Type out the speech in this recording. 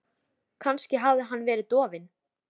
Kannski hafði hann verið of dofinn.